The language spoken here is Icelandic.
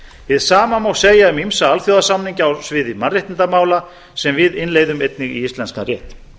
hið sama má segja um ýmsa alþjóðasamninga á sviði mannréttindamála sem við innleiðum einnig í íslenskan rétt